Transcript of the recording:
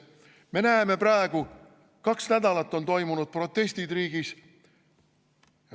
Me näeme praegu, kaks nädalat on toimunud protestid riigis.